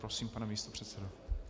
Prosím, pane místopředsedo.